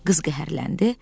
Qız qəhərləndi.